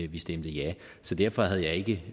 vi stemte ja så derfor havde jeg ikke